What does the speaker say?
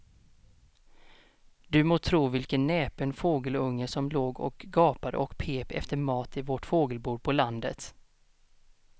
Du må tro vilken näpen fågelunge som låg och gapade och pep efter mat i vårt fågelbo på landet.